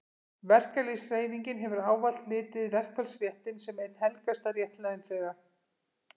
verkalýðshreyfingin hefur ávallt litið verkfallsréttinn sem einn helgasta rétt launþega